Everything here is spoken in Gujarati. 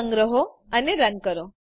સંગ્રહો અને રન કરો